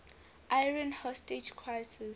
iran hostage crisis